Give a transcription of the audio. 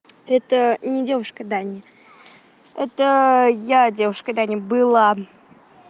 это не девушка дани это я девушка дани было